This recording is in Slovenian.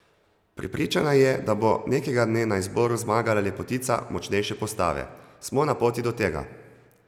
Prepričana je, da bo nekega dne na izboru zmagala lepotica močnejše postave: "Smo na poti do tega.